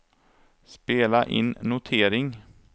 spela in notering